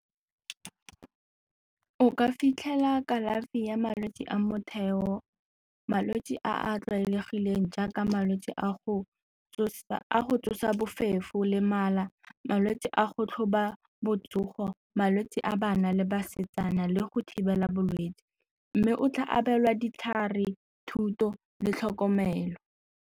O ka fitlhela kalafi ya malwetse a motheo, malwetse a a tlwaelegileng jaaka malwetse a go tsosa bofefo mala, malwetse a go tsosa botsogo, malwetse a bana le basetsana le go thibela bolwetse mme o tla abelwa ditlhare thuto le tlhokomelo.